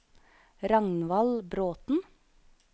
Ragnvald Bråthen